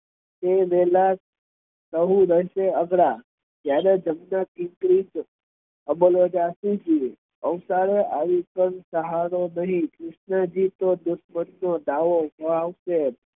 તે વેહલા